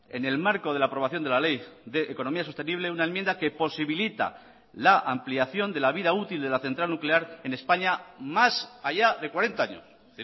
en el marco de la aprobación de la ley de economía sostenible una enmienda que posibilita la ampliación de la vida útil de la central nuclear en españa más allá de cuarenta años es